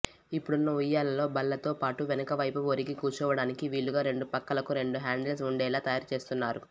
ఇప్పుడున్న ఉయ్యాలల్లో బల్లతో పాటు వెనకవైపు ఒరిగి కూర్చోవడానికి వీలుగా రెండు పక్కలకు రెండు హ్యాండిల్స్ ఉండేలా తయారుచేస్తున్నారు